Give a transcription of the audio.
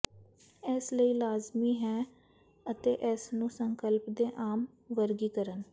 ਇਸ ਲਈ ਲਾਜ਼ਮੀ ਹੈ ਅਤੇ ਇਸ ਨੂੰ ਸੰਕਲਪ ਦੇ ਆਮ ਵਰਗੀਕਰਨ